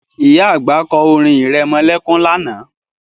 Ìyá àgbà kọ́ orin irẹmọlẹ́kún lánàá